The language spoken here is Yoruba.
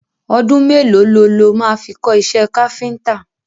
Ọdún mẹ́lòó lo ló máa fi kọ́ iṣẹ́ káfíntà?